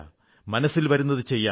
മനസ്സിൽ വരുന്നതു ചെയ്യാം